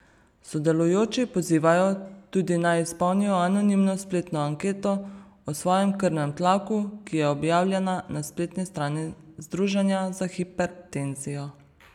Sodelujoči pozivajo tudi, naj izpolnijo anonimno spletno anketo o svojem krvnem tlaku, ki je objavljena na spletni strani Združenja za hipertenzijo.